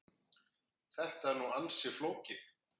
Þetta er nú ansi flókið.